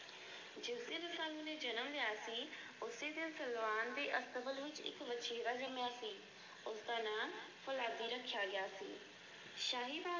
ਉਸੇ ਦਿਨ ਸਲਵਾਨ ਦੇ ਅਸਤਬਲ ਵਿਚ ਇੱਕ ਵਛੇਰਾ ਜੰਮਿਆ ਸੀ। ਉਸ ਦਾ ਨਾਮ ਫ਼ੌਲਾਦੀ ਰੱਖਿਆ ਗਿਆ ਸੀ। ਸ਼ਾਹੀ ਰਾਜ